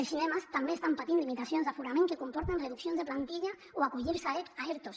els cinemes també estan patint limitacions d’aforament que comporten reduccions de plantilla o acollir se a ertos